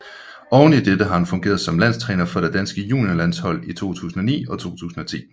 Oveni dette har han fungeret som landstræner for det danske juniorlandshold i 2009 og 2010